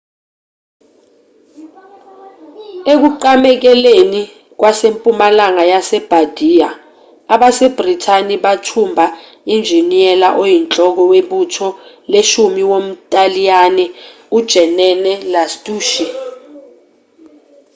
ekuqamekeleni kwasempumalanga yebardia abasebhrithani bathumba unjiniyela oyinhloko webutho leshumi womntaliyane ujenene lastucci